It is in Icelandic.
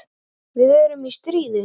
Við erum í stríði.